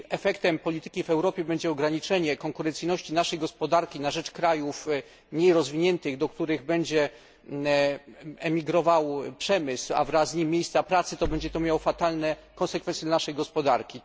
Jeśli efektem polityki w Europie będzie ograniczenie konkurencyjności naszej gospodarki na rzecz krajów mniej rozwiniętych, do których będzie emigrował przemysł, a wraz z nim miejsca pracy, to będzie to miało fatalne konsekwencje dla naszej gospodarki.